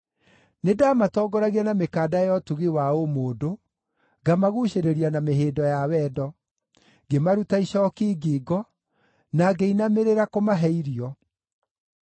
Nĩndamatongoragia na mĩkanda ya ũtugi wa ũmũndũ, ngamaguucĩrĩria na mĩhĩndo ya wendo; ngĩmaruta icooki ngingo, na ngĩinamĩrĩra kũmahe irio.